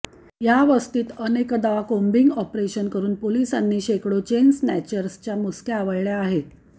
या वस्तीत अनेकदा कोम्बिंग ऑपरेशन करून पोलिसांनी शेकडो चेन स्नॅचर्सच्या मुसक्या आवळल्या आहेत